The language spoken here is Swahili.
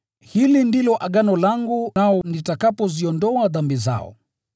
Hili ndilo agano langu nao nitakapoziondoa dhambi zao.”